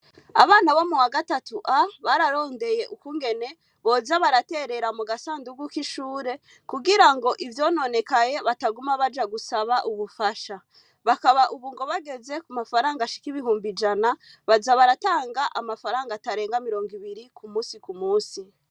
Abana bo mu wa gatatu a bararondeye ukungene boza baraterera mu gasandugu k'ishure kugira ngo ivyononekaye bataguma baja gusaba ubufasha bakaba, ubu ngo bageze ku mafaranga ashikibihumba ijana baza baratanga amafaranga atarenga mirongo ibiri ku musi ku musi.